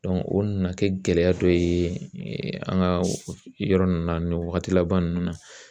o nana kɛ gɛlɛya dɔ ye an ka yɔrɔ ninnu na nin wagati laban ninnu na